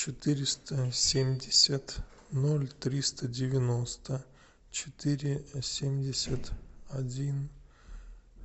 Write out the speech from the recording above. четыреста семьдесят ноль триста девяносто четыре семьдесят один